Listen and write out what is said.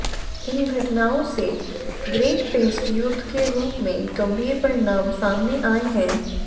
इन घटनाओं से ग्रेट पेसट युद्ध के रूप में गंभीर परिणाम सामने आए हैं